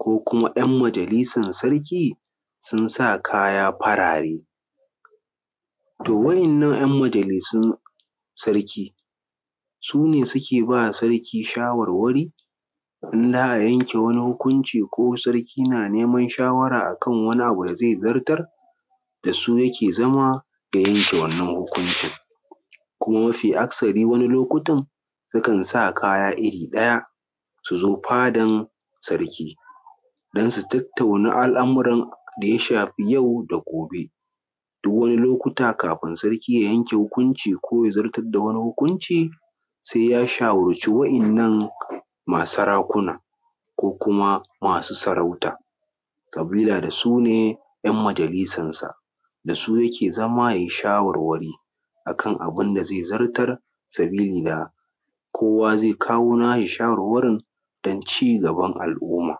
ko kuma 'yan majalisar sarki sun saa kaya farare. to wa’innan 'yan majalisun sarki, su ne suke baa sarki shawarwari in za a yanke wani hukunci ko sarki naa neman shawara akan wani abu da za zartar da su yake zama ya yanke wannan hukuncin, kuma mafi akasari wani lokutan sukan sa kaya iri ɗaya su zo fadan sarki don su tattauna al’amuran da ya shafi yau da gobe duk wani lokuta kafin sarki ya yanke hukunci ko ya zartar da wani hukunci sai ya shawarci waɗannan maa sarakuna ko kuma maa su sarauta sabila da su ne 'yan majalisarsa, da su yake zama yayi shawarwari akan abin da zai zartar sabili da kowa zai kawo naa shi shawarwarin don cigaban al’umma.